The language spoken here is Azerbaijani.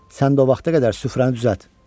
Sən də o vaxta qədər süfrəni düzəlt.